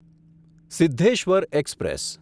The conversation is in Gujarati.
સિદ્ધેશ્વર એક્સપ્રેસ